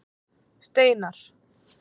Steinar